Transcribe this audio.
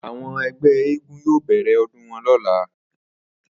Àwo̩n e̩gbé̩ eégún yóò bè̩rè̩ o̩dún wo̩n ló̩la